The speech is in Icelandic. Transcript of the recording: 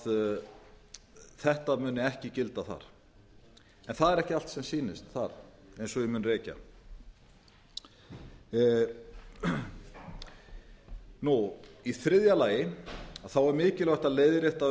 að þetta mun ekki gilda þar en það er ekki allt sem sýnist þar eins og ég mun rekja í þriðja lagi er mikilvægt að leiðrétta